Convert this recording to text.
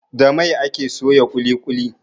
Da mai ake soya ƙuli ƙuli